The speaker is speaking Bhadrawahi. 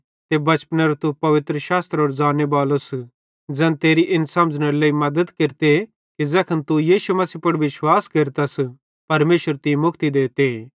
ते बचपनेरो तू पवित्रशास्त्रेरो ज़ान्ने बालोस ज़ैन तेरी इन समझ़नेरे लेइ मद्दत केरते कि ज़ैखन तू यीशु मसीह पुड़ विश्वास केरतस परमेशर तीं मुक्ति देते